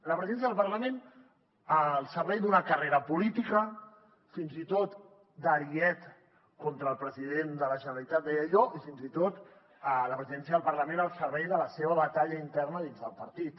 la presidència del parlament al servei d’una carrera política fins i tot d’ariet contra el president de la generalitat deia jo i fins i tot la presidència del parlament al servei de la seva batalla interna dins del partit